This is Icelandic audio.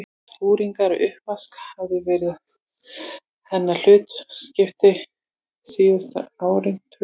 Skúringar og uppvask hafði verið hennar hlutskipti síðast liðin tvö ár.